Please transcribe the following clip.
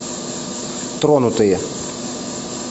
тронутые